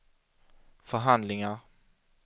förhandlingar